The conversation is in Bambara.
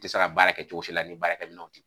Te se ka baara kɛ cogosi la ni baarakɛminɛnw t'i